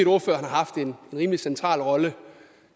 ordføreren har haft en rimelig central rolle